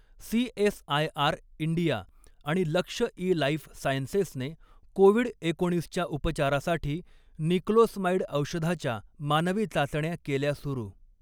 CSIR India आणि Laxai life सायन्सेसने COVID एकोणीसच्या उपचारासाठी निक्लोसमाइड औषधाच्या मानवी चाचण्या केल्या सुरू